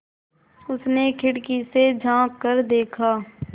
उसने खिड़की से झाँक कर देखा